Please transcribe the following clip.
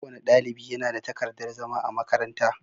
Kowane ɗalibi ya na da takardar zama a makaranta.